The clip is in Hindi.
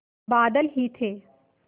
बादल ही थे